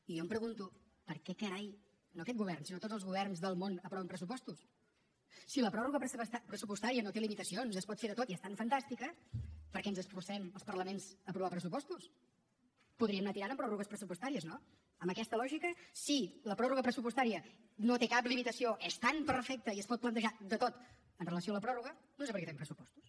i jo em pregunto per què carai no aquest govern sinó tots els governs del món aproven pressupostos si la pròrroga pressupostària no té limitacions s’hi pot fer de tot i és tan fantàstica per què ens esforcem els parlaments a aprovar pressupostos podríem anar tirant amb pròrrogues pressupostàries no amb aquesta lògica si la pròrroga pressupostària no té cap limitació és tan perfecta i es pot plantejar de tot amb relació a la pròrroga no sé per què fem pressupostos